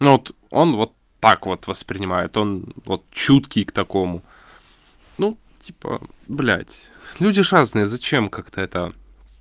он вот так вот воспринимает он вот чуткий к такому ну типа блять люди ж разные зачем как-то это